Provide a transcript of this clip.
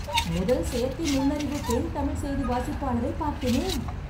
முதல் செயற்கை நுண்ணறிவு பெண் தமிழ் செய்தி வாசிப்பாளரை பார்த்தேனே..